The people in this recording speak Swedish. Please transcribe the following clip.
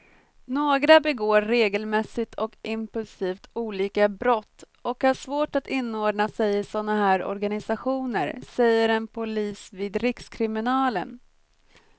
Några begår regelmässigt och impulsivt olika brott och har svårt att inordna sig i såna här organisationer, säger en polis vid rikskriminalen.